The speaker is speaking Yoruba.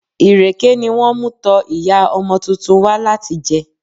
Ìrèké ni wón mú tọ Ìyá ọmọ tuntun wá láti jẹ.